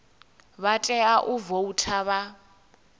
vha tea u voutha vha